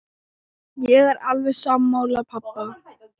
Ég er alveg sammála pabba.